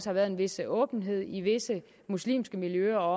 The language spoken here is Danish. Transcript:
har været en vis åbenhed i visse muslimske miljøer